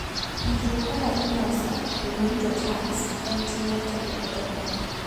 Puonjruok kaka iloso kendo rito tanks en ting' mar japur ka japur.